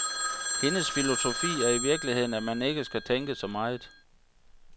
Hendes filosofi er i virkeligheden, at man ikke skal tænke så meget.